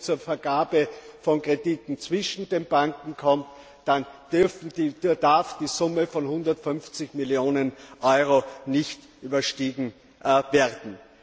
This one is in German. Und wenn es zur Vergabe von Krediten zwischen den Banken kommt, dann darf die Summe von 150 Millionen EUR nicht überstiegen werden.